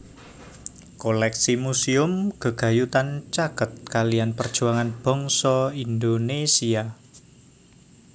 Koléksi muséum gegayutan caket kaliyan perjuangan bangsa Indonesia